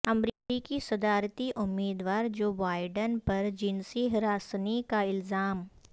امریکی صدارتی امیدوار جوبائیڈن پر جنسی ہراسانی کا الزام